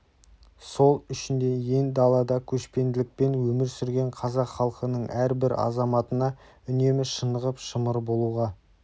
сол үшін де ен далада көшпенділікпен өмір сүрген қазақ халқының әрбір азаматына үнемі шынығып шымыр болуға